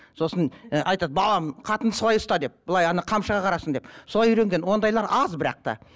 сосын ы айтады балам қатынды солай ұста деп былай ана қамшыға қарасын деп солай үйренген ондайлар аз бірақ та